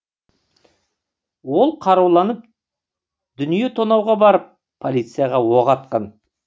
ол қаруланып дүние тонауға барып полицияға оқ атқан